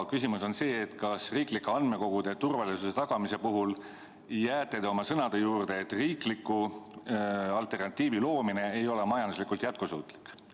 Küsimus on see, et kas riiklike andmekogude turvalisuse tagamise puhul jääte te oma sõnade juurde, et riikliku alternatiivi loomine ei ole majanduslikult jätkusuutlik.